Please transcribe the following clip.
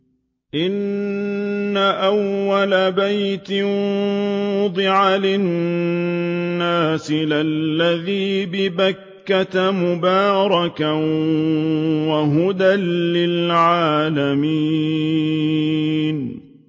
إِنَّ أَوَّلَ بَيْتٍ وُضِعَ لِلنَّاسِ لَلَّذِي بِبَكَّةَ مُبَارَكًا وَهُدًى لِّلْعَالَمِينَ